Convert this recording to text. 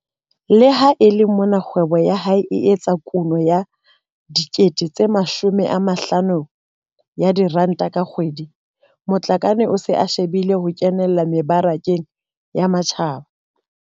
Le ha e le mona kgwebo ya hae e etsa kuno ya R50 000 ka kgwedi, Matlakane o se a shebile ho kenella mebarakeng ya matjhaba.